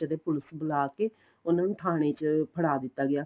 ਜਦੇਂ police ਬੁਲਾਕੇ ਉਹਨਾ ਨੂੰ ਥਾਣੇ ਚ ਫੜਾ ਦਿੱਤਾ ਗਿਆ